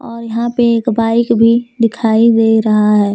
और यहां पे एक बाइक भी दिखाई दे रहा है।